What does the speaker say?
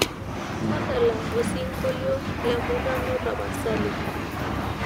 tadala osingolio le murano tapasali